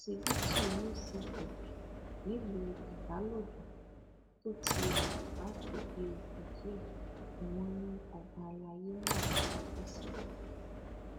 òṣìbìtú uch nílùú ibalodàn tó ti wà láti bíi oṣù díẹ ni wọn ní ọba àlàyé náà dákẹ sí